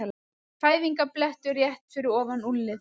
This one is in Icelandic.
Fæðingarblettur rétt fyrir ofan úlnliðinn.